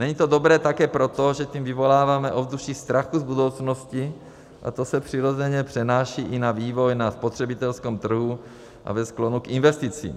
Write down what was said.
Není to dobré také proto, že tím vyvoláváme ovzduší strachu z budoucnosti, a to se přirozeně přenáší i na vývoj na spotřebitelském trhu a ve sklonu k investicím.